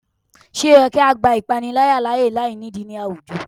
Ṣe o yẹ ki a gba ipanilaya laaye lainidi ni awujọ?